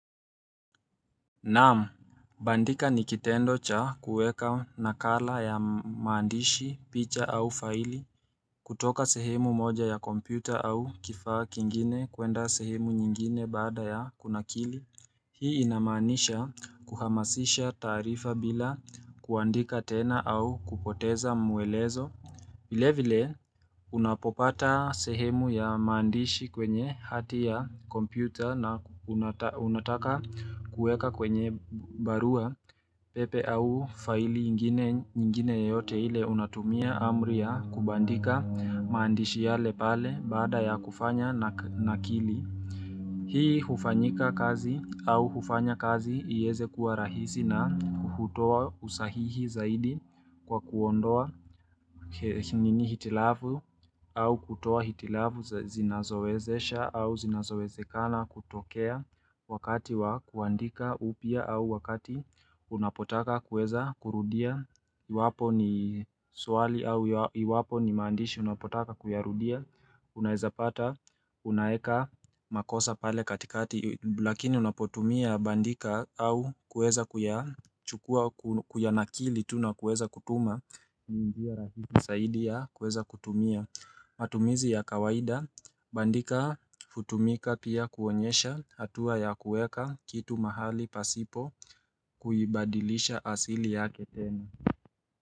Naam, bandika ni kitendo cha kueka nakala ya maandishi, picha au faili kutoka sehemu moja ya kompyuta au kifaa kingine kuenda sehemu nyingine baada ya kunakili. Hii inamaanisha kuhamasisha taarifa bila kuandika tena au kupoteza mwelezo. Vile vile unapopata sehemu ya maandishi kwenye hati ya kompyuta na unataka kueka kwenye barua pepe au faili nyingine yoyote ile unatumia amri ya kubandika maandishi yale pale baada ya kufanya nakili. Hii hufanyika kazi au hufanya kazi ieze kuwa rahisi na hutoa usahihi zaidi kwa kuondoa nini hitilafu au kutoa hitilafu zinazowezesha au zinazowezekana kutokea wakati wa kuandika upya au wakati unapotaka kuweza kurudia Iwapo ni swali au iwapo ni maandishi unapotaka kuyarudia Unaeza pata, unaeka makosa pale katikati Lakini unapotumia bandika au kueza kuyanakili tu na kueza kutuma ni njia rahisi saidi ya kuweza kutumia matumizi ya kawaida, bandika hutumika pia kuonyesha hatua ya kueka kitu mahali pasipo kuibadilisha asili yake tena.